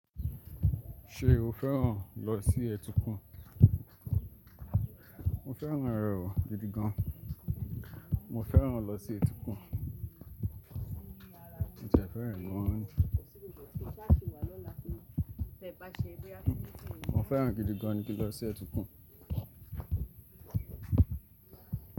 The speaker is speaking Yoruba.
Ṣé o fẹ́ràn lọ sí ẹtukun? Mo fẹ́ràn ẹrù, gidi gan. Mo fẹ́ràn lọ sí etíkun. Mo ti ẹ fẹ́ràn ẹ gan ni. Mo fẹ́ràn gidi gan ni ki lọ sí ẹtukun.